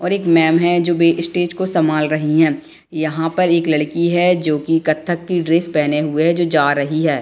और एक मेम हैं जो भी स्टेज को संभल रही हैं यहाँ पर एक लड़की हैं जो की कत्थक की ड्रेस पहने हुए है जो रही हैं।